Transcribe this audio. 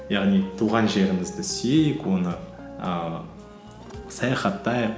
яғни туған жерімізді сүйейік оны ііі саяхаттайық